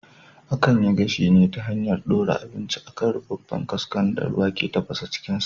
Akan yi gashi ne ta hanyar ɗora abinci a kan rufaffen kaskon da ruwa ke tafasa cikin sa